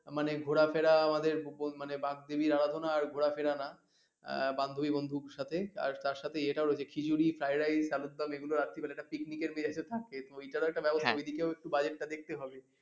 মানে ঘোরা ফেরা আমাদের মানে বাগদেবীর আরাধনা আর ঘোরাফেরা না আহ বান্ধবী বন্ধুর সাথে আর তার সাথে এটাও রয়েছে খিচুড়ি fried rice আলুর দম এগুলো রাত্রেবেলা একটা picnic এর সিরাজি ও থাকে তো ওইটারও একটা ব্যবস্থা ওই দিকেও একটু budget টা দেখতে হবে